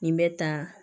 Nin bɛ ta